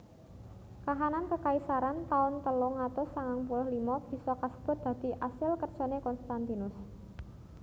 Kahanan kekaisaran taun telung atus sangang puluh limo bisa kasebut dadi asil kerjané Konstantinus